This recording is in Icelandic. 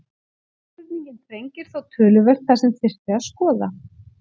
Spurningin þrengir þó töluvert það sem þyrfti að skoða.